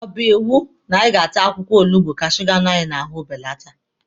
Ọ bụ iwu na anyị ga-ata akwụkwọ olugbu ka suga nọ anyị n'ahụ belata?